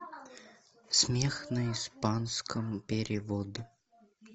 смех на испанском перевод